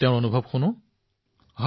নমস্কাৰ ডাঙৰীয়া